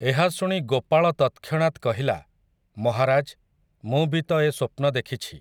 ଏହା ଶୁଣି ଗୋପାଳ ତତକ୍ଷଣାତ୍ କହିଲା, ମହାରାଜ୍, ମୁଁ ବି ତ'ଏ ସ୍ୱପ୍ନ ଦେଖିଛି ।